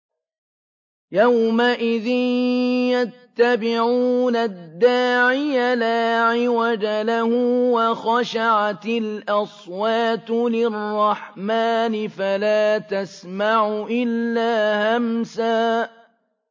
يَوْمَئِذٍ يَتَّبِعُونَ الدَّاعِيَ لَا عِوَجَ لَهُ ۖ وَخَشَعَتِ الْأَصْوَاتُ لِلرَّحْمَٰنِ فَلَا تَسْمَعُ إِلَّا هَمْسًا